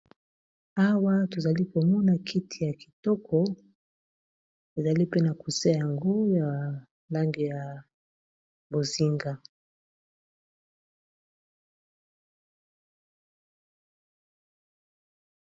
awa tozali komona kiti ya kitoko ezali pena kusea yango ya lange ya bozinga